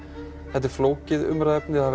þetta er flókið umræðuefni það